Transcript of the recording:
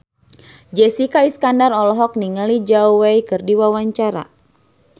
Jessica Iskandar olohok ningali Zhao Wei keur diwawancara